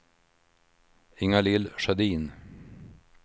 Ingalill Sjödin